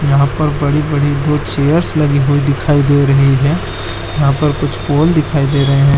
यहाँ पर बड़ी-बड़ी दो चेयर्स लगी हुई दिखाई दे रही है यहाँ पर कुछ पॉल दिखाई दे रहै--